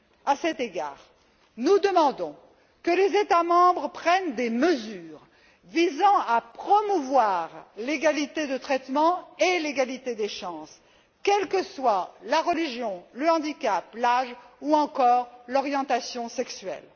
À cet égard, nous demandons que les États membres prennent des mesures visant à promouvoir l'égalité de traitement et l'égalité des chances quelles que soient la religion, le handicap, l'âge ou encore l'orientation sexuelle.